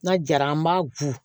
N'a jara an b'a go